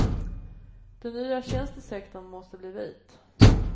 Den nya tjänstesektorn måste bli vit.